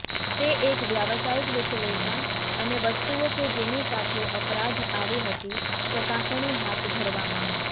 તે એક વ્યાવસાયિક વિશ્લેષણ અને વસ્તુઓ કે જેની સાથે અપરાધ આવી હતી ચકાસણી હાથ ધરવામાં